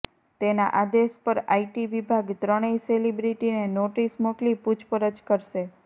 તેના આદેશ પર આઇટી વિભાગ ત્રણેય સેલિબ્રિટીને નોટિસ મોકલી પૂછપરછ કરશે